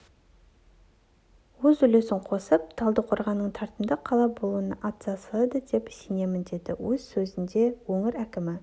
өз үлесін қосып талдықорғанның тартымды қала болуына атсалысады деп сенемін деді өз сөзінде өңір әкімі